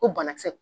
Ko banakisɛ